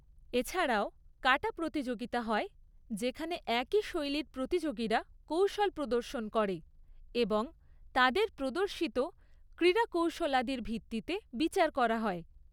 এছাড়াও কাটা প্রতিযোগিতা হয়, যেখানে একই শৈলীর প্রতিযোগীরা কৌশল প্রদর্শন করে এবং তাদের প্রদর্শিত ক্রীড়াকৌশলাদির ভিত্তিতে বিচার করা হয়।